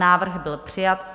Návrh byl přijat.